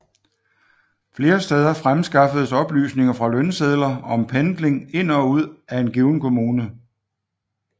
Flere steder fremskaffedes oplysninger fra lønsedler om pendling ind og ud af en given kommune